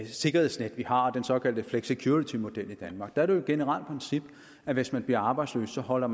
sikkerhedsnet vi har den såkaldte flexicuritymodel i danmark der er det generelt princip at hvis man bliver arbejdsløs holder